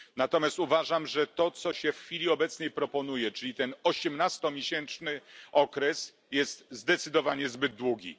Natomiast uważam, że to, co się w chwili obecnej proponuje, czyli ten osiemnastomiesięczny okres, jest zdecydowanie zbyt długi.